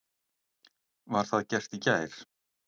Var það gert í gær.